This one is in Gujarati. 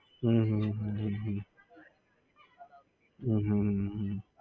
હમ હમ હમ હમ